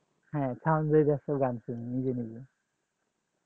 হ্যাঁ sound বাড়ে দিয়ে গান শুনি নিজে নিজে